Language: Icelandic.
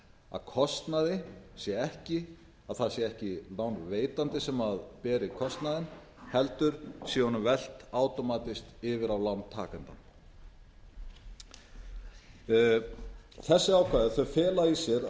að það sé ekki lánveitandi sem beri kostnaðinn heldur sé honum velt átómatískt yfir á lántakandann þessi ákvæði fela það í sér